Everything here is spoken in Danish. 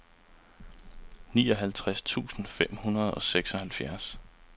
nioghalvtreds tusind fem hundrede og seksoghalvfjerds